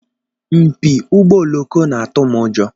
Mpi ụgbọ oloko na-atụ m ụjọ.